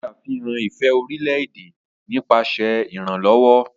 O ṣe àfihàn ifẹ orilẹ-ede nípasẹ iranlọwọ.